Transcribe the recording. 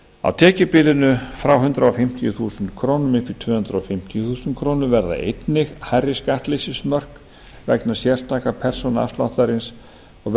á tekjubilinu frá hundrað fimmtíu þúsund krónur upp í tvö hundruð fimmtíu þúsund krónur verða einnig hærri skattleysismörk vegna sérstaka persónuafsláttarins og